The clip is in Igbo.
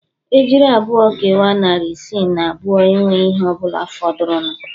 Ejiri abụọ kewaa narị isii na abụọ enweghị ihe ọ bụla fọdụrụnụ